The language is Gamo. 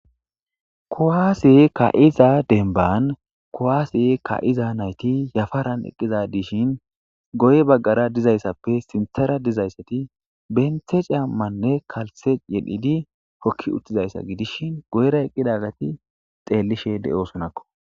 kuwase ka7iza denban kowaasi ka7iza nayti yafaran eqqiza dishin goye baggara dizayssappe sinthara dizayssati benthe caammanne kalte yedhidi hokki uttizayssa gidishin goyra eqqidagati xeellishe de'osonakko